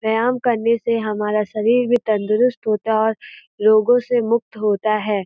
व्यायाम करने से हमारा शरीर भी तंदुरुस्त होता है और रोगों से मुक्त होता है।